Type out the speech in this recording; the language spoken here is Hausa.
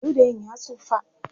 ludayin ya tsufa